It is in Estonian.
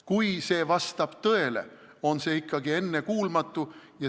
Kui see vastab tõele, on see ikkagi ennekuulmatu.